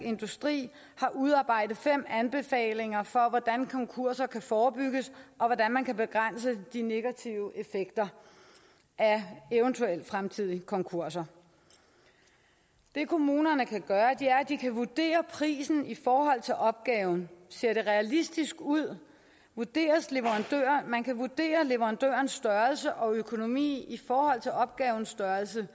industri har udarbejdet fem anbefalinger for hvordan konkurser kan forebygges og hvordan man kan begrænse de negative effekter af eventuelle fremtidige konkurser det kommunerne kan gøre er at de kan vurdere prisen i forhold til opgaven ser realistisk ud man kan vurdere leverandørens størrelse og økonomi i forhold til opgavens størrelse